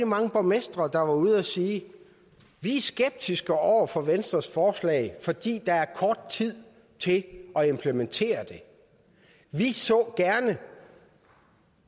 mange borgmestre der var ude at sige vi er skeptiske over for venstres forslag fordi der er kort tid til at implementere det vi så gerne